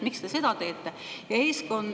Miks te seda teete?